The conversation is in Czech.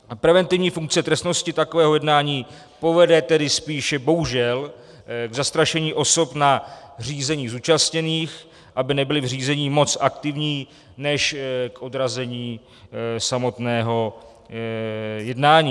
Preventivní funkce trestnosti takového jednání povede tedy spíše bohužel k zastrašení osob na řízení zúčastněných, aby nebyly v řízení moc aktivní, než k odrazení samotného jednání.